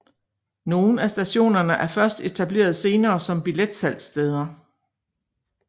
Nogle af stationerne er først etableret senere som billetsalgssteder